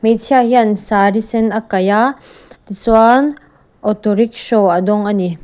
hmeichhia hian saree sen a kaih a tichuan auto rickshaw a dawng ani.